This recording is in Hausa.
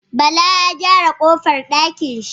Bala Ya gyara kofar dakin shi